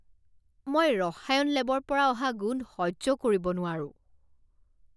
মই ৰসায়ন লেবৰ পৰা অহা গোন্ধ সহ্য কৰিব নোৱাৰো।